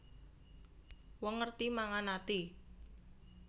Wong ngerti mangan ati